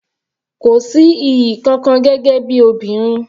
Kò sí iyì kankan gẹ́gẹ́ bí obìnrin.